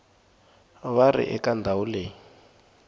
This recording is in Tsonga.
va ri eka ndhawu leyi